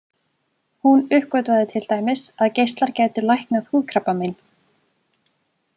Hún uppgötvaði til dæmis að geislar gætu læknað húðkrabbamein.